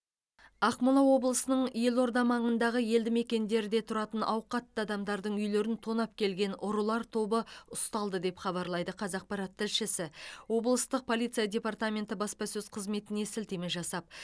ақмола облысының елорда маңындағы елді мекендерде тұратын ауқатты адамдардың үйлерін тонап келген ұрылар тобы ұсталды деп хабарлайды қазақпарат тілшісі облыстық полиция департаменті баспасөз қызметіне сілтеме жасап